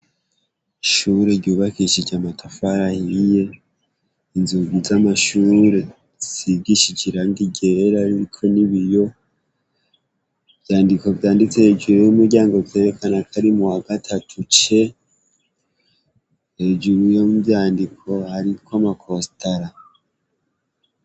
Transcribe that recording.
Ishure yubakishijwe amatafari ahiye inzugi z' amashure zisigishije irangi ryera ririko n' ibiyo ivyandiko vyanditse hejuru y' umuryango vyerekana ko ari muwagatatu C, hejuru y' ivyandiko hariko ama kostara.